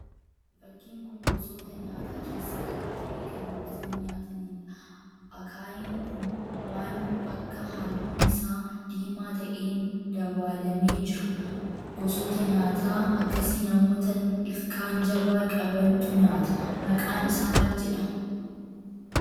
Fakkiin gosoota nyaataa keessa tokko ta'ee kan gogsanii nyaataniidha. Akaayiin kun waan akka halluun isaa diimaa ta'een dabaalamee jira. Gosoota nyaata akkasii namoota ilkaan jabaa qabantu nyaata. maqaan isaa maal jedhama?